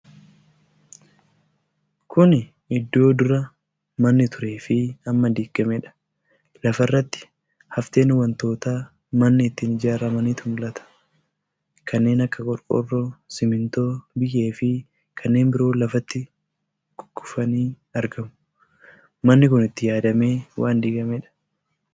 Kuni Iddoo dura manni turee fi amma diigameedha. Lafarratti hafteen wantoota manni ittiin ijaaramaniinitu mul'ata. Kanneen akka qorqorroo, simintoo, biyyee fi kanneen biroo lafatti kukkufanii argamu. Manni kun itti yaadamee waan digameedha.